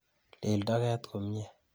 Iil toket komnyie.